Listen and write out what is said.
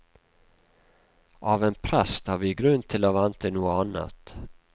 Av en prest har vi grunn til å vente noe annet.